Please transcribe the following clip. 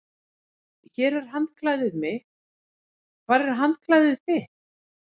Hér er handklæðið mitt. Hvar er handklæðið þitt?